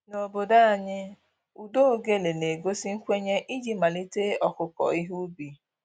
N'obodo anyị, ụda ogele na-egosi nkwenye iji malite ọkụkụ ihe ubi